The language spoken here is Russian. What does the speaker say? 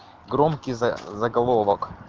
громкий заголовок